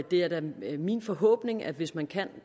det er da min forhåbning at hvis man kan